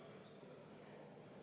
Palun võtta seisukoht ja hääletada!